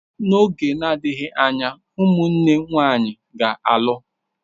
N'oge na-adịghị anya, ụmụnne nwanyị ga-alụ.